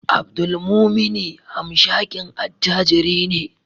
Abdulmumuni hamshakin attajiri ne